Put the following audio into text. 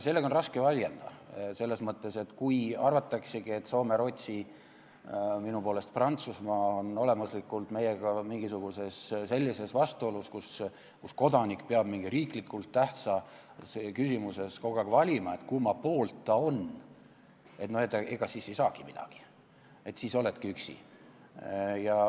Sellega on raske vaielda selles mõttes, et kui arvataksegi, et Soome, Rootsi, minu poolest Prantsusmaa on olemuslikult meiega mingisuguses sellises vastuolus, kus kodanik peab mingis riiklikult tähtsas küsimuses kogu aeg valima, kumma poolt ta on, ega siis ei saagi midagi, siis oledki üksi.